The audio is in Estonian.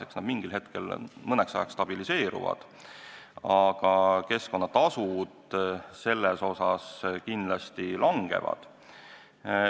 Eks nad mingil hetkel mõneks ajaks stabiliseeruvad, aga keskkonnatasud seetõttu kindlasti langevad.